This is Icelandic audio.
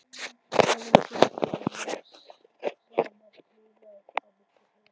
Blái klúturinn lá samankuðlaður á milli þeirra.